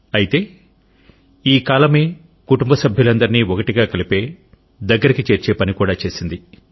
అయితే ఈ కాలమే కుటుంబ సభ్యులందరిని ఒకటిగా కలిపే దగ్గరకు చేర్చే పని కూడా చేసింది